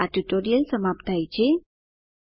આ સાથે આ ટ્યુટોરીયલ સમાપ્ત થાય છે